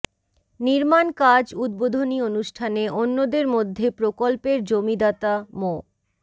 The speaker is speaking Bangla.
নির্মাণ কাজ উদ্বোধনী অনুষ্ঠানে অন্যদের মধ্যে প্রকল্পের জমিদাতা মো